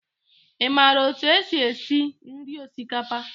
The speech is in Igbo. Ị maara otú e si esi esi nri osikapa?